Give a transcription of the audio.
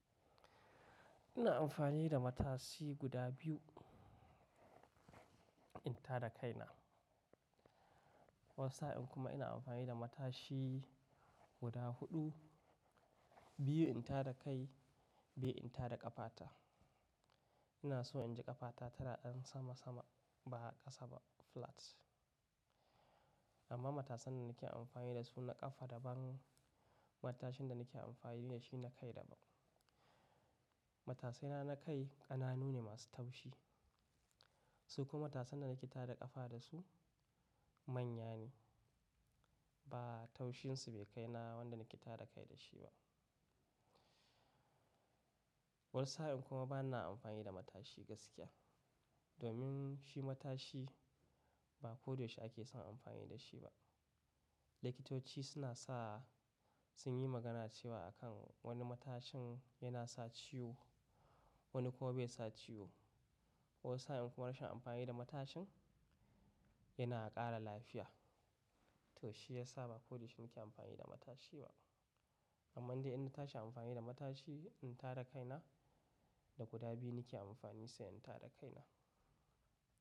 Ina amfani da matashi guda biyu in tada kai na. Wani sa'in kuma ina amfani da matashi guda huɗu, biyu in tada kai biyu in tada ƙafata. Ina so in ji ƙafata tana ɗan sama sama ba ƙasa ba flat. Amma matasan da nake amfani da su na ƙafa daban. Matashin da nake amfani da shi na kai daban. Matasaina na kai ƙananu ne masu taushi. Su kuma matasan da nake tada ƙafa da su manya ne ba taushin su bai kai na wanda nake tada kai da shi ba. Wani sa'in kuma bana amfani da matashi gaskiya. Domin shi matashi ba koyaushe ake son amfani da shi ba. Likitoci suna sa sun yi magana cewa a kan wani matashin yana sa ciwo wani kuma bai sa ciwo. Wani sa'in kuma rashin amfani da matashin yana ƙara lafiya. To shi ya sa ba koyaushe nake amfani da matashi ba. Amman dai idan na tashi amfani da matashi in tada kai na da guda biyu nake amfani sai in tada kai na.